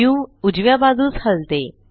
view उजव्या बाजूस हलते